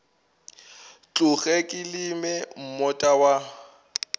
tloge ke leme moota wa